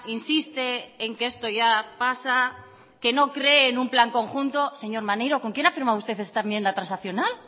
insiste en que esto ya pasa que no cree en un plan conjunto señor maneiro con quién ha firmado usted esta enmienda transaccional